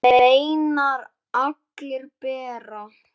Sveinar allir bera.